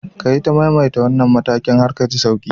Ka ita maimaita wannan matakin har ka ji sauki.